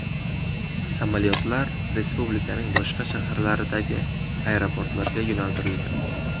Samolyotlar respublikaning boshqa shaharlaridagi aeroportlarga yo‘naltirilgan.